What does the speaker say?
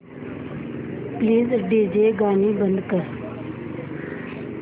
please DJ गाणी बंद कर